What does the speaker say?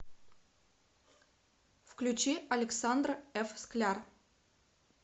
включи александр ф скляр